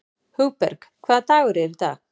Hugberg, hvaða dagur er í dag?